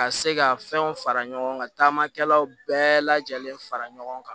Ka se ka fɛnw fara ɲɔgɔn kan taamakɛlaw bɛɛ lajɛlen fara ɲɔgɔn kan